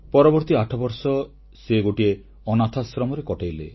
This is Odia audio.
ପରବର୍ତ୍ତୀ 8 ବର୍ଷ ସେ ଗୋଟିଏ ଅନାଥାଶ୍ରମରେ କଟାଇଲେ